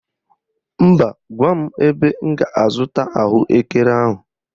Mba, gwa m ebe m ga--azụta ahụekere ahụ.